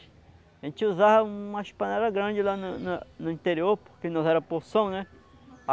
A gente usava umas panelas grandes lá na na no interior, porque nós era poção, né?